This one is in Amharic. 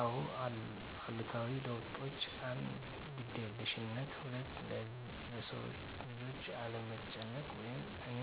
አዎ አሉታዊ ለውጦች 1. ግዴለሽነት 2. ለሰውልጆች አለመጨነቅ ወይም እኔ